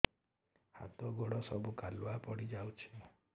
ହାତ ଗୋଡ ସବୁ କାଲୁଆ ପଡି ଯାଉଛି